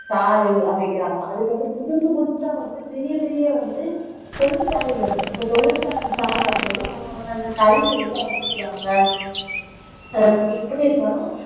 சாலை அமைக்கிறாங்க அதுக்கு வந்து புதுசு புதுசா வந்து பெரிய பெரிய வந்து தொழிற்சாலை வருது அப்போ தொழிற்சாலை, சாலை வரும்போது அவங்க வந்து அந்த கழிவு எல்லாம் என்ன செய்வாங்க எப்படி இருந்தாலும்